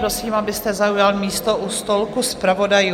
Prosím, abyste zaujal místo u stolku zpravodajů.